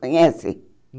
Conhece?